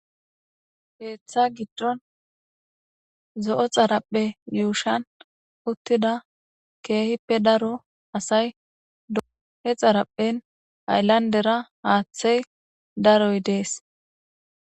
heeththa giddon zo7o xarapphe yuushan uttida keehippe daro asay dohe xaraphen ayllandera haaththey daroy dees